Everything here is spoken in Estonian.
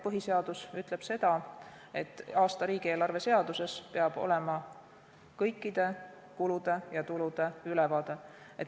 Põhiseadus ütleb, et aasta riigieelarve seaduses peab olema kõikide kulude ja tulude ülevaade.